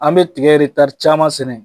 An bɛ tigɛ caaman sɛnɛ.